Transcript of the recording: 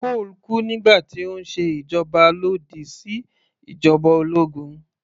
Cole kú nígbà tí ó ń ṣe ìwọ́de lòdì sí ìjoba ológun